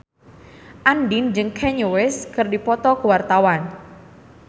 Andien jeung Kanye West keur dipoto ku wartawan